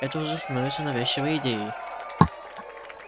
это уже становится навязчивой идеей